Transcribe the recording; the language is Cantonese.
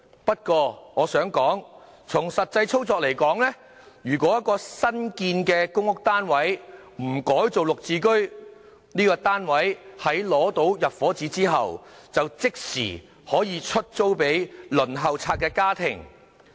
不過，從實際操作而言，如果一個新建的公屋單位不改作"綠置居"，該單位在取得入伙紙後，即時可出租給輪候冊上的家庭。